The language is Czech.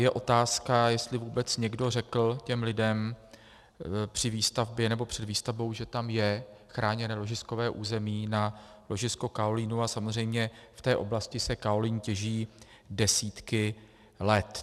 Je otázka, jestli vůbec někdo řekl těm lidem při výstavbě nebo před výstavbou, že tam je chráněné ložiskové území na ložisko kaolínu, a samozřejmě v té oblasti se kaolín těží desítky let.